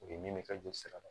U ye min ka joli sira